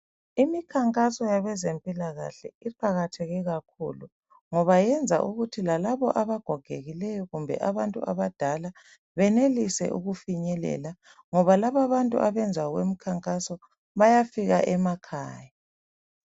Imikhankaso yabezempilakahle iqakatheke kakhulu ngoba iyenza ukuthi lalaba abagogekile kumbe abantu abadala benelise ukufinyelela ngoba labantu abenza okwemkhankaso bayafika emakhaya.